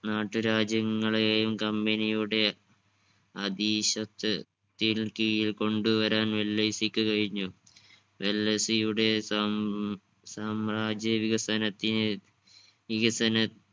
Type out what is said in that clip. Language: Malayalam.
നാട്ടുരാജ്യങ്ങളെയും company യുടെ അധീശത്ത് ത്തിനു കീഴിൽ കൊണ്ടുവരാൻ വെല്ലെയ്‌സിക്ക് കഴിഞ്ഞു വെല്ലെയ്‌സിയുടെ സം സാമ്രാജ്യ വികസനത്തിന് വികസന